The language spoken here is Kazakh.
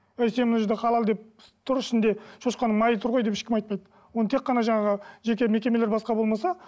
әй сен ол жерде халал деп тұр ішінде шошқаның майы тұр ғой деп ешкім айтпайды оны тек қана жаңағы жеке мекемелер басқа болмаса